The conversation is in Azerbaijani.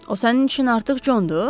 O sənin üçün artıq Condur?